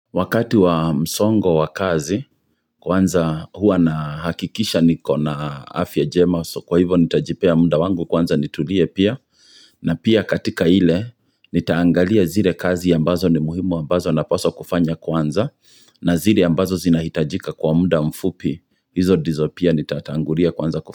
Wakati wa msongo wa kazi, kwanza hua na hakikisha niko na afya jema, so kwa hivo nitajipea muda wangu kwanza nitulie pia, na pia katika ile, nitaangalia zile kazi ya mbazo ni muhimu wa ambazo naposa kufanya kwanza, na zile ya ambazo zinahitajika kwa muda mfupi, hizo ndizo pia nitatangulia kwanza kufanya.